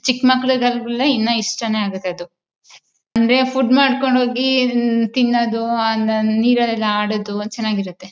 ಚಿಕ್ಮಕ್ಕಳಿಗೆ ಅಂದ್ರೆ ಇಷ್ಟ ಆಗುತ್ತೆ ಇನ್ನ ಅದು ಅಂದ್ರೆ ಫುಡ್ ಮಾಡ್ಕೊಂಡು ಹೋಗಿ ತಿನ್ನದು ಆಮೇಲೆ ನೀರಲ್ಲಿ ಆಡೋದು ಚೆನಾಗಿರುತ್ತೆ